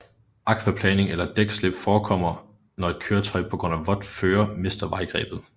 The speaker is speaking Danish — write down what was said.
Akvaplaning eller dækslip forekommer når et køretøj på grund af vådt føre mister vejgrebet